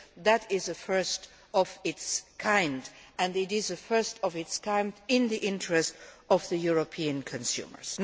That is a first of its kind, and it is a first of its kind in the interests of the European consumers.